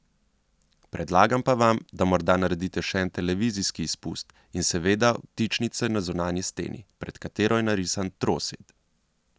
Predlagam pa vam, da morda naredite še en televizijski izpust in seveda vtičnice na zunanji steni, pred katero je narisan trosed.